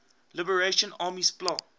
liberation army spla